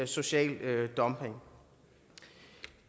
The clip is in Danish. social dumping